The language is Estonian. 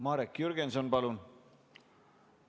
Marek Jürgenson, palun!